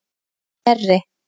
Knerri